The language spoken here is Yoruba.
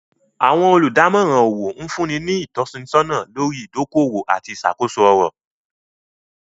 Awọn olùdamòran owó nfunni ni itọ̀sọna lórí idòkọ-owó àti iṣakoso ọ̀rọ̀.